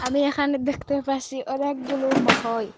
Me এখানে দেখতে পারসি অনেকগুলো মহই।